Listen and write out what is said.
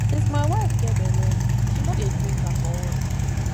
since my wife get bele she no dey drink alcohol